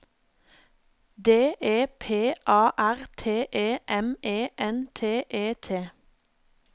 D E P A R T E M E N T E T